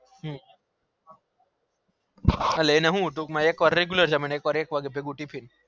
હમ ટૂંક માં એક વાર regular જામે એક વાર ભેગું tfin